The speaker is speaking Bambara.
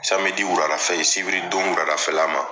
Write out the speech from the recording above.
wurada fɛ ye sibiri don wurada fɛla ma.